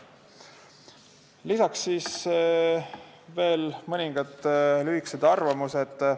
Lisaks olid veel mõningad lühikesed arvamused.